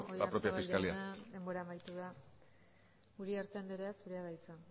el propio la propia fiscalía eskerrik asko oyarzabal jauna denbora amaitu da uriarte andrea zurea da hitza